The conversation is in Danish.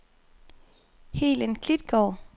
Helen Klitgaard